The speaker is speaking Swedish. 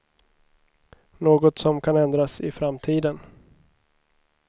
Något som kan ändras i framtiden.